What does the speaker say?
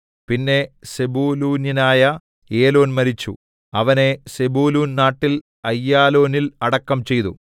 പിന്നെ സെബൂലൂന്യനായ ഏലോൻ മരിച്ചു അവനെ സെബൂലൂൻ നാട്ടിൽ അയ്യാലോനിൽ അടക്കം ചെയ്തു